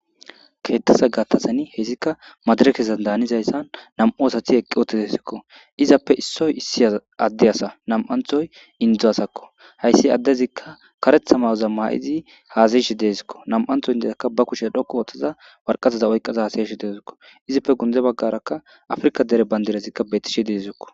Ketaza gatazan hesika madireka malizaysan 2 asat eqi utidesko. Issoy Ade asa 2thoy Ade asako. Hays adezika karetha mayoza mayid hasa'ashe Desko. 2tho indiyaka ba kushe dhoqu othada waraqataza oykada hasa'ashe dawusko. Izippe guye bagara Africa dere bandiraz betishe de'esko.